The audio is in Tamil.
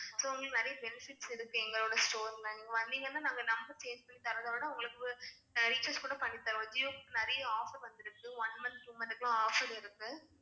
So உங்களுக்கு நிறைய benefits இருக்கு எங்களோட store ல நீங்க வந்தீங்கன்னா நாங்க number change பண்ணி தரதோட உங்களுக்கு அஹ் recharge கூட பண்ணி தருவோம் JioSIM ல நிறைய offer வந்திருக்கு one month two month க்குலாம் offer இருக்கு